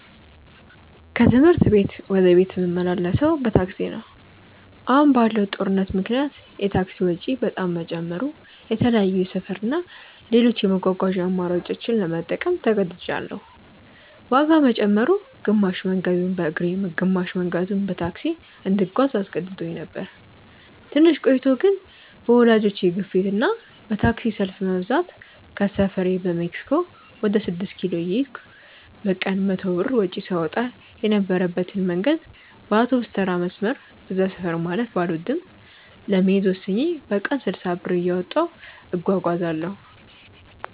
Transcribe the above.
ከትምህርት ቤት ወደ ቤት ምመላለሰው በታክሲ ነው። አሁን ባለው ጦርነት ምክንያት የታክሲ ወጪ በጣም መጨመሩ የተለያዩ የሰፈር እና ሌሎች የመጓጓዣ አማራጮችን ለመጠቀም ተገድጅያለው። ዋጋ መጨመሩ፣ ግማሽ መንገዱን በእግሬ ግማሽ መንገዱን በታክሲ እንድጓዝ አስገድዶኝ ነበር። ትንሽ ቆይቶ ግን በወላጆቼ ግፊት እና በታክሲ ሰልፍ መብዛት ከሰፈሬ በሜክሲኮ ወደ ስድስት ኪሎ እየሄድኩ በቀን 100 ብር ወጪ ሳወጣ የነበረበትን መንገድ በአውቶቢስተራ መስመር (በዛ ሰፈር ማለፍ ባልወድም) ለመሄድ ወስኜ በቀን 60 ብር እያወጣሁ እጓጓዛለው።